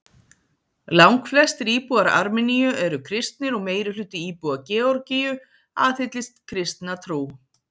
langflestir íbúar armeníu eru kristnir og meirihluti íbúa georgíu aðhyllist kristna trú